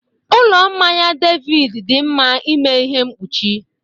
Ụlọ mmanya David dị mma n'ịme ihe mkpuchi